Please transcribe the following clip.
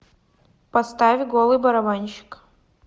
поставь голый барабанщик